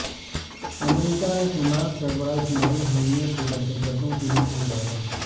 امریکہ نے حماس سربراہ اسلماعیل ہانیہ کو دہشت گردوں کی لسٹ میں ڈالا